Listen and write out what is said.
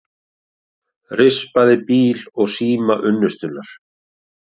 Rispaði bíl og síma unnustunnar